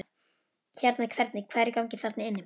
Hérna hvernig, hvað er í gangi þarna inni?